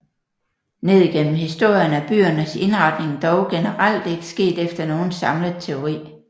Ned gennem historien er byernes indretning dog generelt ikke sket efter nogen samlet teori